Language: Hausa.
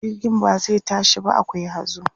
jirgin ba zai tashi ba akwai hazo